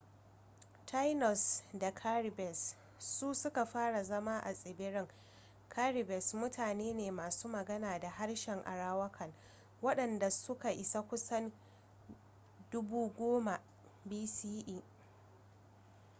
taínos da caribes su suka fara zama a tsibirin. caribes mutane ne masu magana da harshen arawakan waɗanda suka isa kusan 10,000 bce